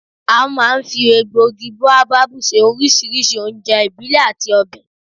A máa ń fi egbògi bóábábù se oríṣiríṣi oúnjẹ ìbílẹ̀ àti ọbẹ̀